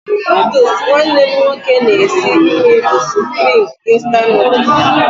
Nụdụls nwanne m nwoke na-esi nri bụ Supreme instant Nụdụls.